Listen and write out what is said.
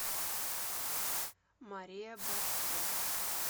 мария башко